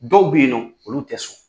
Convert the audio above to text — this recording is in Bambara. Dɔw bɛ yen nɔn olu tɛ sɔn.